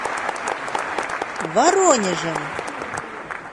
воронежем